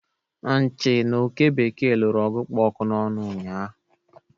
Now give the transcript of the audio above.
Nchị na Oke bekee lụrụ ọgụ kpụ ọkụ n'ọnụ ụnyaahụ